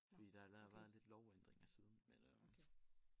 Fordi der er lavet været lidt lovændringer siden men øh